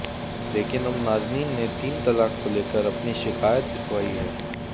लेकिन अब नाजनीन ने तीन तलाक को लेकर अपनी शिकायत लिखवाई है